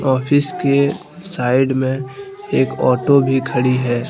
Office के side में एक ऑटो भी खड़ी है।